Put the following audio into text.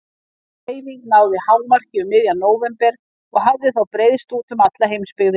Sú hreyfing náði hámarki um miðjan nóvember og hafði þá breiðst út um alla heimsbyggðina.